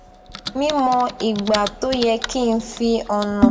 mímọ ìgbà tó yẹ kí n fi ònà